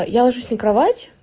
я ложусь на кровать